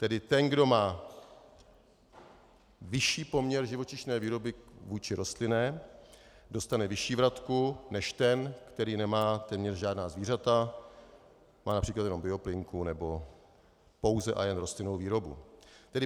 Tedy ten, kdo má vyšší poměr živočišné výroby vůči rostlinné, dostane vyšší vratku než ten, který nemá téměř žádná zvířata, má například jenom bioplynku nebo pouze a jen rostlinnou výrobu.